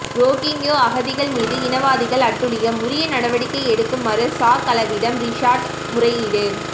ரோகிங்யோ அகதிகள் மீது இனவாதிகள் அட்டுழியம் உரிய நடவடிக்கை எடுக்குமாறு சாகலவிடம் ரிஷாட் முறையீடு